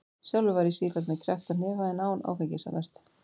Sjálfur var ég sífellt með kreppta hnefa en án áfengis- að mestu.